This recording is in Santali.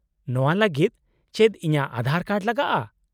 -ᱱᱚᱶᱟ ᱞᱟᱹᱜᱤᱫ ᱪᱮᱫ ᱤᱧᱟᱹᱜ ᱟᱫᱷᱟᱨ ᱠᱟᱨᱰ ᱞᱟᱜᱟᱜᱼᱟ ?